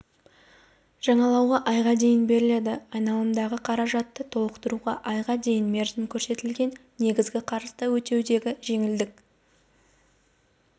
жаңалауға айға дейін беріледі айналымдағы қаражатты толтықтыруға айға дейінгі мерзім көрсетілген негізгі қарызды өтеудегі жеңілдік